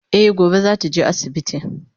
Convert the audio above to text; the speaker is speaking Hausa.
E gobe zata je asibiti